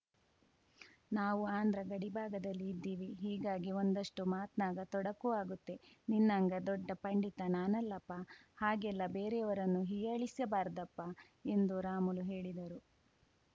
ನಾವು ಆಂಧ್ರ ಗಡಿಭಾಗದಲ್ಲಿ ಇದ್ದೀವಿ ಹೀಗಾಗಿ ಒಂದಷ್ಟುಮಾತ್ನಾಗ ತೊಡಕು ಆಗುತ್ತೆ ನಿನ್ನಂಗ ದೊಡ್ಡ ಪಂಡಿತ ನಾನಲ್ಲಪ್ಪಾ ಹಾಗೆಲ್ಲ ಬೇರೆಯವರನ್ನು ಹೀಯಾಳಿಸಬಾರ್ದಪ್ಪಾ ಎಂದು ರಾಮುಲು ಹೇಳಿದರು